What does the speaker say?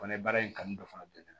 Fana ye baara in kanu dɔ fana bɛ